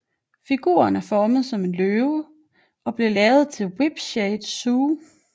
Figuren er formet som en løve og blev lavet til Whipsnade Zoo